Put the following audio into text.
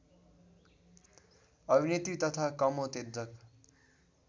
अभिनेत्री तथा कामोत्तेजक